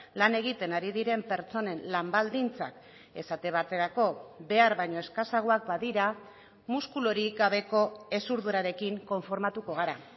lan egiten ari diren pertsonen lan baldintzak esate baterako behar baino eskasagoak badira muskulurik gabeko hezurdurarekin konformatuko gara